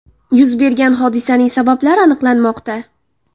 Yuz bergan hodisaning sabablari aniqlanmoqda.